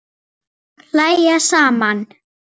Og hlæja saman.